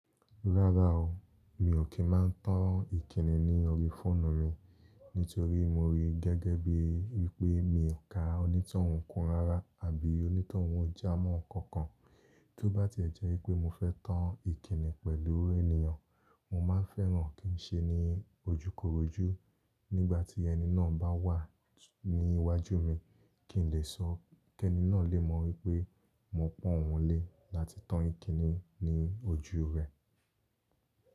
Rárá o, mi ò kí máa ń tàn ìkíni ní orí fóònù mi nítorí mo rí gẹ́gẹ́ bíi wípé mi ò ka onítọ̀hún kan rárá àbí onítọ̀hún jámọ̀ kankan. Tí ó bá ti ẹ̀ jẹ́ wípé mo fẹ́ tàn ìkíni pẹ̀lú ènìyàn, mo máa fẹ́ràn kí ń se ní ojúkorojú nígbà tí ẹni náà bá wà ní iwájú mi kí n lè sọ́ kẹ́ẹni náà lè mọ̀ wípé mo pọ̀n oun lé láti tàn ìkíni ní ojú rẹ̀.